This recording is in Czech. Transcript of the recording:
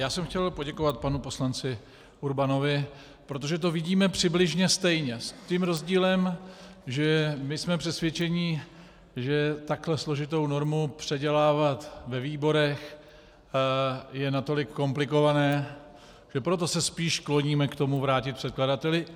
Já jsem chtěl poděkovat panu poslanci Urbanovi, protože to vidíme přibližně stejně, s tím rozdílem, že my jsme přesvědčeni, že takhle složitou normu předělávat ve výborech je natolik komplikované, že proto se spíš kloníme k tomu vrátit předkladateli.